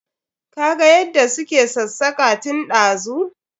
Ka ga yadda su ke ksassaka tun dazu.